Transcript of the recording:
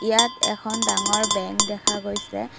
ইয়াত এখন ডাঙৰ বেঙ্ক দেখা গৈছে।